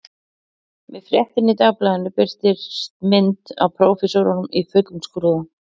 Með fréttinni í dagblaðinu birtist mynd af prófessornum í fullum skrúða